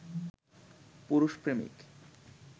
পুরুষ প্রেমিক